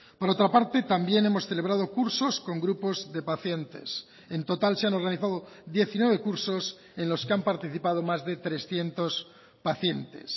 por otra parte también hemos celebrado cursos con grupos de pacientes en total se han organizado diecinueve cursos en los que han participado más de trescientos pacientes